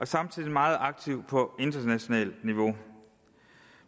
samtidig meget aktiv på internationalt niveau